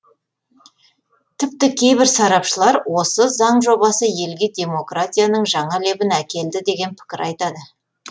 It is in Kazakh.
тіпті кейбір сарапшылар осы заң жобасы елге демократияның жаңа лебін әкелді деген пікір айтады